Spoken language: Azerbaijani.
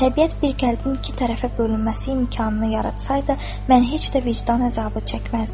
Təbiət bir qəlbin iki tərəfə bölünməsi imkanını yaratsaydı, mən heç də vicdan əzabı çəkməzdim.